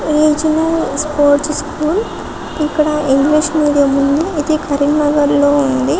ఇది చుడానికి చాలా మంచిగా ఉంది చుడానికి చాలాల్